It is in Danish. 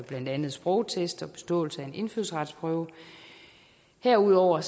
blandt andet sprogtest og beståelse af en indfødsretsprøve herudover